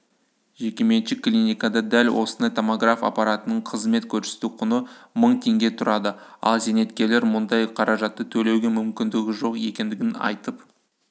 жекеменшік клиникада дәл осындай томограф аппаратының қызмет көрсету құны мың теңге тұрады ал зейнеткерлер мұндай қаражатты төлеуге мүмкіндігі жоқ екендігін айтып